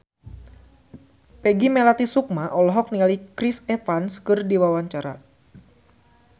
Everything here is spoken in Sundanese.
Peggy Melati Sukma olohok ningali Chris Evans keur diwawancara